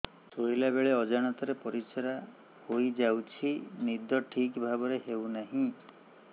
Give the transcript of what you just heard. ଶୋଇଲା ବେଳେ ଅଜାଣତରେ ପରିସ୍ରା ହୋଇଯାଉଛି ନିଦ ଠିକ ଭାବରେ ହେଉ ନାହିଁ